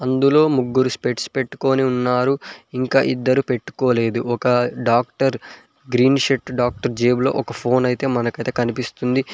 ఇందులో ముగ్గురు స్పెక్ట్స్ పెట్టుకొని ఉన్నారు ఇంకా ఇద్దరు పెట్టుకోలేదు ఒక డాక్టర్ గ్రీన్ షర్ట్ డాక్టర్ జేబులో ఒక ఫోన్ అయితే మనకైతే కనిపిస్తుంది